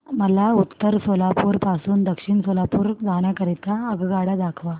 मला उत्तर सोलापूर पासून दक्षिण सोलापूर जाण्या करीता आगगाड्या दाखवा